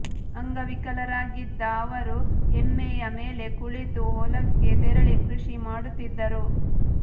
ಅಂಗವಿಕಲರಾಗಿದ್ದ ಅವರು ಎಮ್ಮೆಯ ಮೇಲೆ ಕುಳಿತು ಹೊಲಕ್ಕೆ ತೆರಳಿ ಕೃಷಿ ಮಾಡುತ್ತಿದ್ದರು